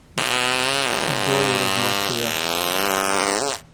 доллары в москве